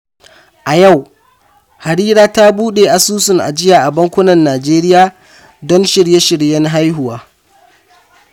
A yau, Harira ta bude asusun ajiya a bankunan Najeriya don shirye-shiryen haihuwa.